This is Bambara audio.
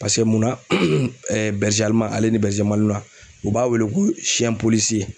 munna u b'a wele ko